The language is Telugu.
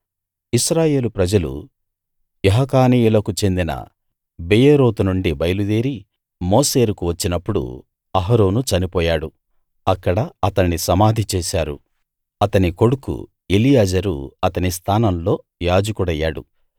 ఇశ్రాయేలు ప్రజలు యహకానీయుల కు చెందిన బెయేరోతు నుండి బయలుదేరి మోసేరుకు వచ్చినప్పుడు అహరోను చనిపోయాడు అక్కడ అతణ్ణి సమాధి చేశారు అతని కొడుకు ఎలియాజరు అతని స్థానంలో యాజకుడయ్యాడు